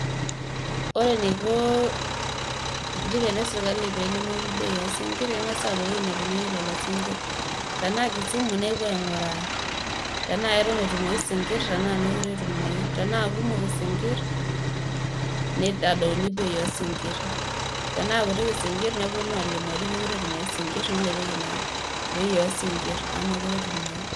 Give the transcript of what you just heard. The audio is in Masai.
Ore eneiko encheriaani esirkali peelimu bei oosinkir keng'as aapuo ewueji namirieki lelo singir tenaa kisumu nepuo aing'uraa tenaa keton etumotu isinkir tenaa meekure etumoyu ,tenaa kumok isinkir neitadouni bei oosinkir tenaa kuti isinkir neponu aalimu ajo meekure etumoyu isinkir neilepieki bei oosinkir amu meekure etumoyu esinkir.